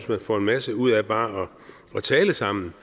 man får en masse ud af bare at tale sammen